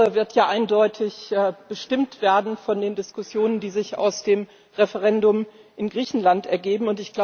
Diese Woche wird eindeutig bestimmt werden von den Diskussionen, die sich aus dem Referendum in Griechenland ergeben.